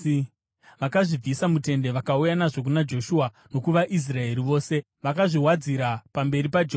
Vakazvibvisa mutende, vakauya nazvo kuna Joshua nokuvaIsraeri vose, vakazviwadzira pamberi paJehovha.